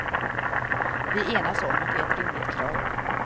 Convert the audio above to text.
Vi enas om att det är ett rimligt krav.